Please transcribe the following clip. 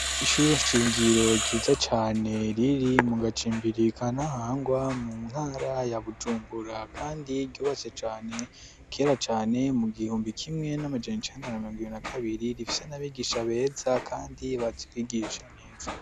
ishure nshingiro ryiza cane riri mu gacimbiri ka ntahangwa mu ntara ya bujumbura kandi ryubatse cane kera cane mu gihumbi kimwe n'amajana cenda na mirongo na kabiri rifise n'abigisha beza kandi bazi kwigisha neza